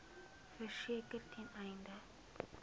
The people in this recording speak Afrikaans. verseker ten einde